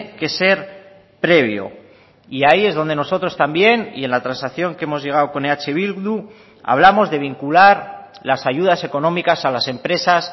que ser previo y ahí es donde nosotros también y en la transacción que hemos llegado con eh bildu hablamos de vincular las ayudas económicas a las empresas